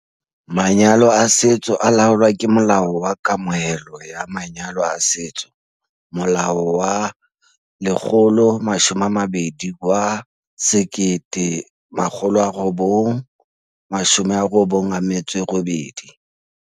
MvN- Manyalo a setso a laolwa ke Molao wa Kamohelo ya Manyalo a Setso, Molao wa 120 wa 1998.